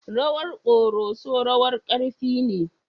Rawar Koroso rawar ƙarfi ne.